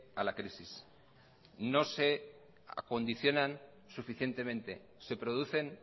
a la crisis no se acondicionan suficientemente se producen